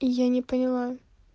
я не поняла